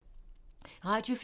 Radio 4